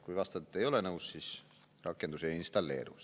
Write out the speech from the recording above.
Kui vastad, et ei ole nõus, siis rakendus ei installeeru.